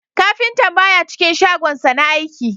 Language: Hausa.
Kafintan baya cikin shagonsa na aiki